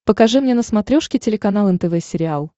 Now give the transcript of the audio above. покажи мне на смотрешке телеканал нтв сериал